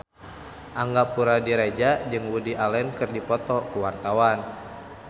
Angga Puradiredja jeung Woody Allen keur dipoto ku wartawan